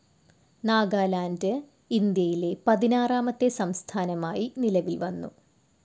നാഗാലാൻ്റ്, ഇന്ത്യയിലെ പതിനാറാമത്തെ സംസ്ഥാനമായി നിലവിൽ വന്നു.